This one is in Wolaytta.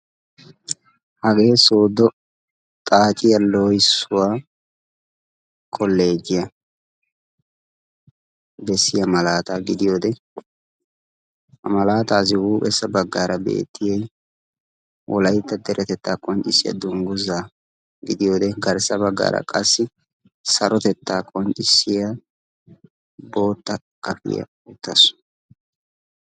Hagee soodo xaacciya koleejjiya loohissuw bessiya malaataa gidiyoode ha malaataassi hupheesaara bootta akililee beetees.